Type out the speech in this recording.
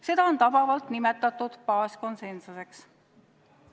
Seda on tabavalt nimetatud baaskonsensuseks.